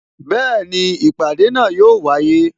Bẹẹni, ìpàdé náà yo wáyé